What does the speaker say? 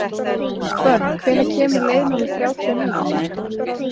Hvönn, hvenær kemur leið númer þrjátíu og níu?